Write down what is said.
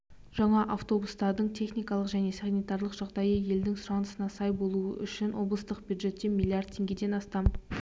жаңа автобустардың техникалық және санитарлық жағдайы елдің сұранысына сай болуы үшін облыстық бюджеттен миллиард теңгеден астам